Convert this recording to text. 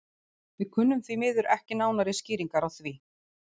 Við kunnum því miður ekki nánari skýringar á því.